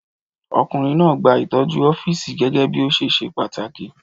Ọkùnrin náà gba ìtọ́jú ọ́fíìsì gẹ́gẹ́ bí ó ṣe ṣe pàtàkì.